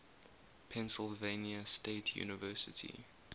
pennsylvania state university